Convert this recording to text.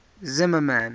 zimmermann